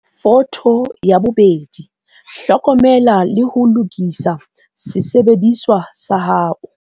Photo 2. Hlokomela le ho lokisa sesebediswa sa hao.